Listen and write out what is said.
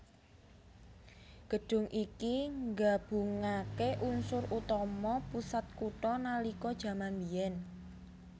Gedhung iki nggabungaké unsur utama pusat kutha nalika jaman mbiyen